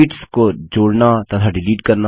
sheets को जोड़ना तथा डिलीट करना